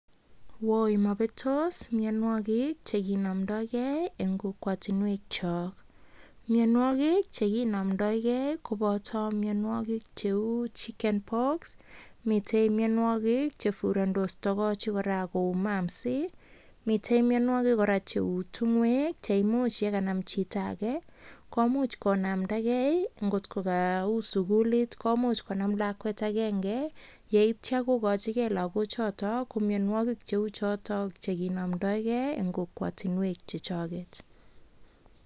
Woi mobetos mionwogiik chekinomdogee en kokwotinwek chok, mionwogiik chekinomdogee kobotoo mionwogik cheu chicken breast pox, miten mionwogiik che furandos togochik kora, koumamsy, mitten mionwogik cheu tiongoek che yekanam chito komuch konamdagee kot ko kou sugulit komuch Konaam lakwet agenge yeityoo kokochige logook choton ko mianwogik cheu choton chekinomdogee en kokwotinwek chechoget.